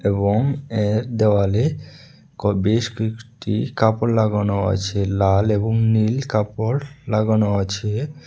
এবং এর দেওয়ালে ক বেশ কয়েকটি কাপড় লাগানো আছে লাল এবং নীল কাপড় লাগানো আছে।